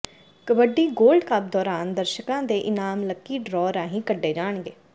kabaddi gold cup ਦੌਰਾਨ ਦਰਸ਼ਕਾਂ ਦੇ ਇਨਾਮ ਲੱਕੀ ਡਰਾਅ ਰਾਹੀਂ ਕੱਢੇ ਜਾਣਗੇ